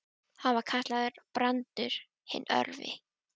Hann var kallaður Brandur hinn örvi.